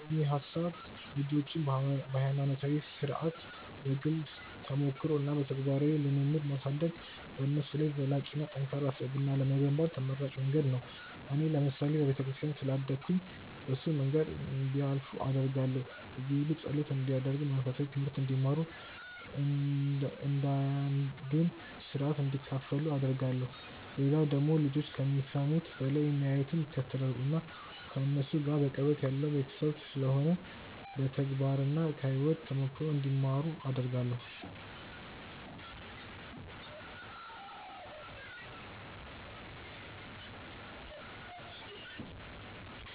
እንደኔ ሐሳብ ልጆችን በሃይማኖታዊ ሥርዓት፣ በግል ተሞክሮ እና በተግባራዊ ልምምድ ማሳደግ በነሱ ላይ ዘላቂና ጠንካራ ስብዕና ለመገንባት ተመራጭ መንገድ ነው። እኔ ለምሳሌ በቤተክርስቲያን ስላደግኩኝ በሱ መንገድ እንዲያልፉ አደርጋለሁ። እየሔዱ ጸሎት እንዲያደርጉ፣ መንፈሳዊ ትምሀርት እንዲማሩ፣ እያንዳንዱን ሥርዓት እንዲካፈሉ አደርጋለሁ። ሌላው ደግሞ ልጆች ከሚሰሙት በላይ የሚያዩትን ይከተላሉ። እና ከነሱ ጋር በቅርበት ያለው ቤተሰብ ስለሆነ በተግባርና ከሕይወት ተሞክሮ እንዲማሩ አደርጋለሁ።